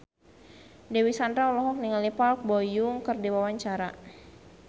Dewi Sandra olohok ningali Park Bo Yung keur diwawancara